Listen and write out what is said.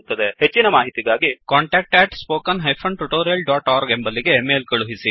ಹೆಚ್ಚಿನ ಮಾಹಿತಿಗಾಗಿ contactspoken tutorialorg ಎಂಬಲ್ಲಿಗೆ ಮೇಲ್ ಕಳುಹಿಸಿ